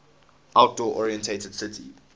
outdoor oriented city